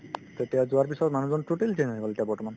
তেতিয়া যোৱাৰ পিছত মানুহজন totally change হৈ গ'ল এতিয়া বৰ্তমান